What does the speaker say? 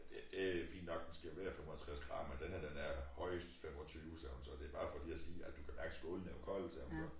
Det det fint nok den skal være 55 grader men den her den er højest 25 sagde hun så det bare for lige at sige at du kan mærke skålen er jo kold siger hun så